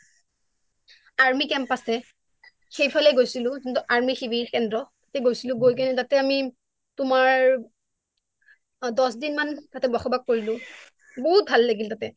army camp আছে সেইফালে গৈছিলো যোনটো আৰ্মী শিবিৰ কেন্দ্ৰ গৈছিলো গৈ কেনে আমি তোমাৰ দশ দিন মান বক্ষবাস কৰিলো বহুত ভাল লাগিল তাতে